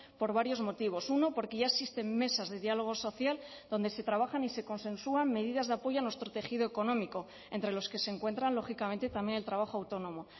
por varios motivos uno porque ya existen mesas de diálogo social donde se trabajan y se consensúan medidas de apoyo a nuestro tejido económico entre los que se encuentran lógicamente también el trabajo autónomo